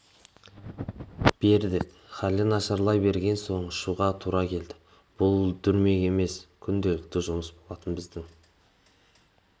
бердік халы нашарлай берген соң ұшуға тура келді бұл дүрмек емес күнделікті жұмыс болатын біздің